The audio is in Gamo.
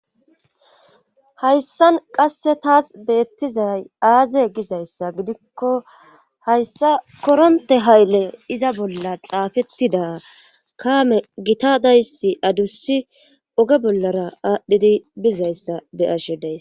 hayssan qasse taas beettizay aaze gizayssa gidikko hayssa koronte hayle iza bolla xaafettida kaame gitadayssi adussi oge bollara aadhdhidi bizayssa be7ashe deys